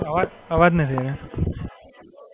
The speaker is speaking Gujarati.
અવાજ અવાજ નથી આઈ રહ્યો.